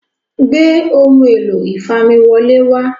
gbé Ohun èlò ìfamiwọlé wá